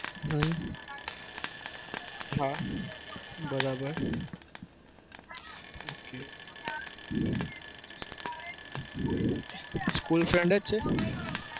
હમ હા બરાબર okay school friend જ છે?